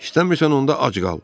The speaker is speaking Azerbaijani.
İstəmirsən onda ac qal.